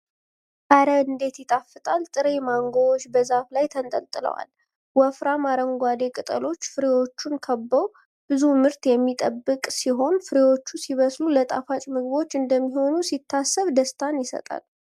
ኧረ እንዴት ይጣፍጣል! ጥሬ ማንጎዎች በዛፍ ላይ ተንጠልጥለዋል። ወፍራም አረንጓዴ ቅጠሎች ፍሬዎቹን ከበው ። ብዙ ምርት የሚጠበቅ ሲሆን። ፍሬዎቹ ሲበስሉ ለጣፋጭ ምግቦች እንደሚሆኑ ሲታሰብ ደስታ ይሰጣል።